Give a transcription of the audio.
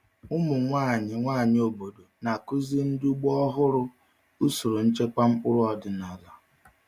Ụmụ nwanyị nwanyị obodo na-akụziri ndị ugbo ọhụrụ usoro nchekwa mkpụrụ ọdịnala.